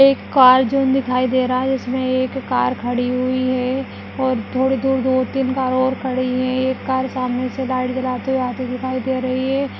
एक car zone दिखाई दे रहा है जिसमें एक कार खड़ी हुई है और थोड़ी दूर दो-तीन कार और खड़ी हुई है एक कार सामने से लाइट जलाती हुई आती हुई दिखाई दे रही हैं।